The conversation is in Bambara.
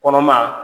Kɔnɔmaya